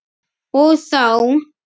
Og þá.